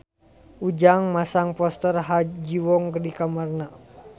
Ujang masang poster Ha Ji Won di kamarna